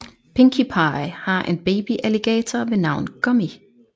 Pinkie Pie har en babyalligator ved navn Gummy